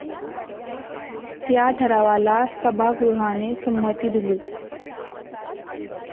या ठरावाला सभागृहाने संमती दिली.